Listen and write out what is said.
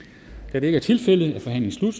da det ikke er tilfældet er forhandlingen